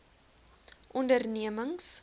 ondernemings